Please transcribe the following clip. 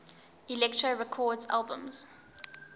elektra records albums